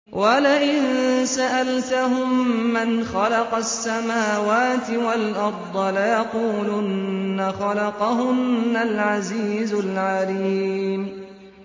وَلَئِن سَأَلْتَهُم مَّنْ خَلَقَ السَّمَاوَاتِ وَالْأَرْضَ لَيَقُولُنَّ خَلَقَهُنَّ الْعَزِيزُ الْعَلِيمُ